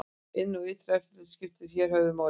Innra og ytra eftirlit skiptir hér höfuð máli.